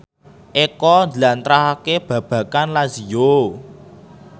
Eko njlentrehake babagan Lazio